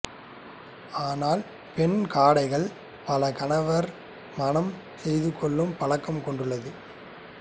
ஆனால் பெண் காடைகள் பலகணவர் மணம் செய்துகொள்ளும் பழக்கம் கொண்டுள்ளது